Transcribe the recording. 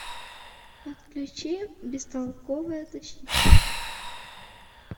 подключи бестолковая защита